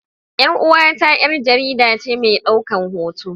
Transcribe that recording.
Yar uwata yar jaridace medaukan hoto.